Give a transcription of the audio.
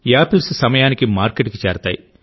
apples సమయానికి మార్కెట్కు చేరుతాయి